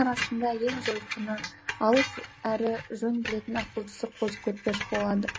арасында ең жойқыны алып әрі жөн білетін ақылдысы қозы көрпеш болады